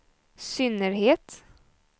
synnerhet